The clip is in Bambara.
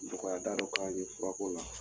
Nɔgɔya da dɔ k'a ye fura ko la .